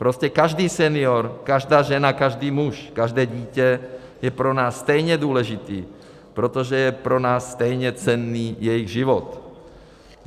Prostě každý senior, každá žena, každý muž, každé dítě jsou pro nás stejně důležití, protože je pro nás stejně cenný jejich život.